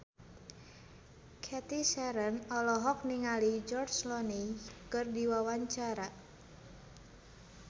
Cathy Sharon olohok ningali George Clooney keur diwawancara